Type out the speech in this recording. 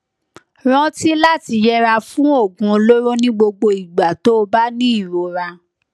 rántí láti yẹra fún oògùn olóró ní gbogbo ìgbà tó o bá ní ìrora